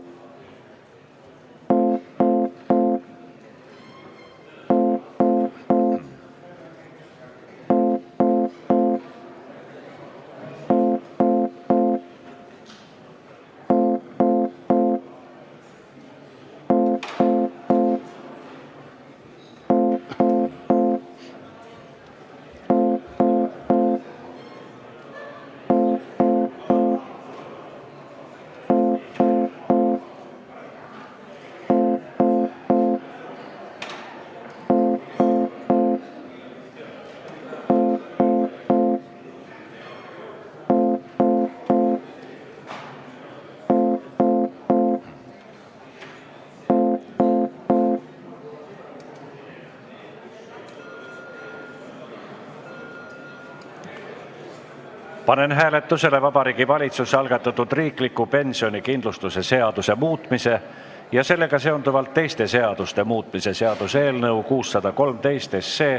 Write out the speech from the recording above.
Panen hääletusele Vabariigi Valitsuse algatatud riikliku pensionikindlustuse seaduse muutmise ja sellega seonduvalt teiste seaduste muutmise seaduse eelnõu 613.